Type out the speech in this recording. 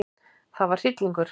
Það var hryllingur.